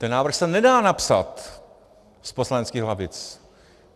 Ten návrh se nedá napsat z poslaneckých lavic.